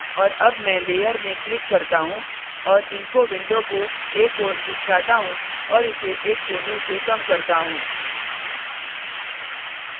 और अब मैं layer में click करता हूँ और info window को एक ओर खिसकाता हूँ और इसे एक कोने से कम करता हूँ